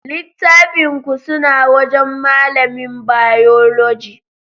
Littafin ku suna wajan malamin Bayologi